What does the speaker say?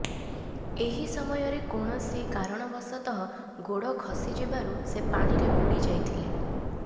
ଏହି ସମୟରେ କୌଣସି କାରଣବଶତଃ ଗୋଡ଼ ଖସି ଯିବାରୁ ସେ ପାଣିରେ ବୁଡ଼ି ଯାଇଥିଲେ